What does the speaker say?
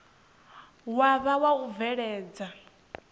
wa vha wa u bveledza